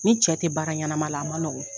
N'i cɛ tɛ baara ɲanama la a man nɔgɔ.